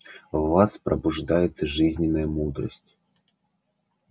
в вас пробуждается жизненная мудрость